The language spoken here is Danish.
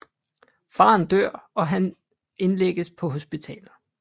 Faren dør og Hans indlægges på hospitalet